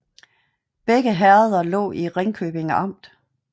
Begge herreder lå i Ringkøbing Amt